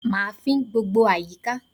Mà á fín gbogbo àyíká